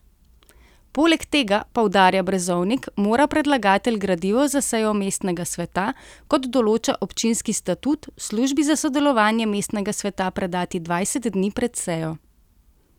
Poleg tega, poudarja Brezovnik, mora predlagatelj gradivo za sejo mestnega sveta, kot določa občinski statut, službi za delovanje mestnega sveta predati dvajset dni pred sejo.